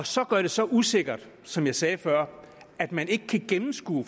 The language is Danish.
så gør det så usikkert som jeg sagde før at man ikke kan gennemskue